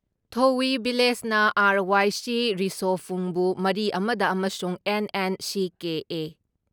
ꯊꯣꯌꯤ ꯚꯤꯂꯦꯖꯅ ꯑꯥꯔ.ꯋꯥꯏ.ꯁꯤ ꯔꯤꯁꯣꯐꯨꯡꯕꯨ ꯃꯔꯤ ꯑꯃ ꯗ ꯑꯃꯁꯨꯡ ꯑꯦꯟ.ꯑꯦꯟ.ꯁꯤ.ꯀꯦ.ꯑꯦ.,